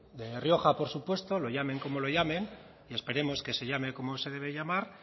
de rioja por supuesto lo llamen como lo llamen y esperemos que se llame como se debe llamar